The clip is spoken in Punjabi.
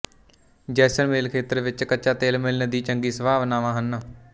ਜੈਸਲਮੇਰ ਖੇਤਰ ਵਿੱਚ ਕੱਚਾ ਤੇਲ ਮਿਲਣ ਦੀ ਚੰਗੀ ਸੰਭਾਵਨਾਵਾਂ ਹਨ